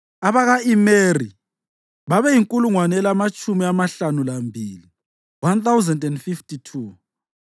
abaka-Imeri babeyinkulungwane elamatshumi amahlanu lambili (1,052),